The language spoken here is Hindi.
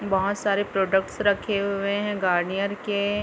बहोत सारे प्रोडक्ट्स रखे हुए है गार्नियर के--